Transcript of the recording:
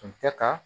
Tun tɛ ka